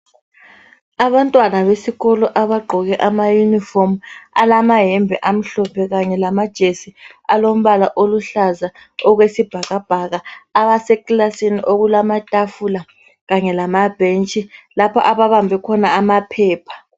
Abantwana besikolo abagqoke ama yunifomu, alamayembe amhlophe kanye amajesi alombala oluhlaza okwesibhakabhaka abase kilasini, okulamatafula kanye lamabhentshi lapho ababambe khona amaphepha.